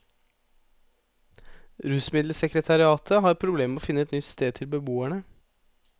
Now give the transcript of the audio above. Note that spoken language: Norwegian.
Rusmiddelsekretariatet har hatt problemer med å finne et nytt sted til beboerne.